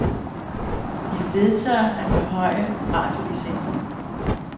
De vedtager at forhøje radiolicensen.